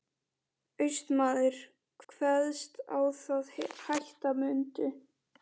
Austmaður kveðst á það hætta mundu.